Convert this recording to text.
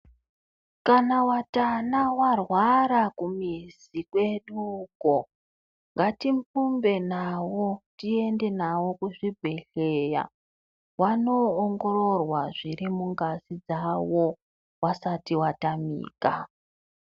Kana vatana varwara kumizi kwedu uko, ngatimbumbe navo tiende navo kuzvibhedhleya, vanoongororwa zviri mungazi dzavo, vasati vatamika.